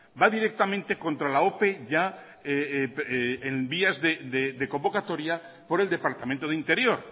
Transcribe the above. va directamente contra la ope ya en vías de convocatoria por el departamento de interior